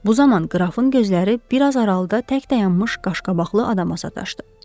Bu zaman qrafın gözləri bir az aralıda tək dayanmış qaşqabaqlı adama sataşdı.